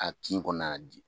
A kin kɔnɔna na di